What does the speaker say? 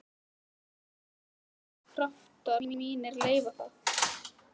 En guð má vita hvort kraftar mínir leyfa það.